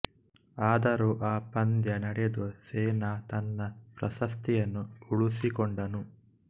ಆದರೂ ಆ ಪಂದ್ಯ ನಡೆದು ಸೆನಾ ತನ್ನ ಪ್ರಶಸ್ತಿಯನ್ನು ಉಳಿಸಿಕೊಂಡನು